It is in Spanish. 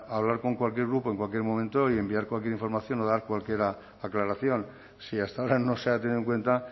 hablar con cualquier grupo en cualquier momento y enviar cualquier información o dar cualquier aclaración si hasta ahora no se ha tenido en cuenta